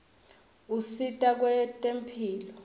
usita kwetemphilo